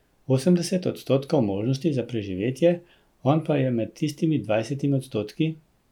Osemdeset odstotkov možnosti za preživetje, on pa je med tistimi dvajsetimi odstotki?